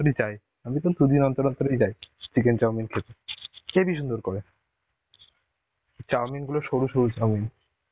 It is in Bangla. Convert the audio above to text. অন্তরে যাই. আমি তো দুদিন অন্তর অন্তরেই যাই chicken chowmin খেতে. হেবি সুন্দর করে. chowmin গুলো সরু সরু chowmin.